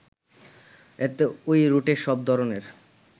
এতে ওই রুটে সব ধরনের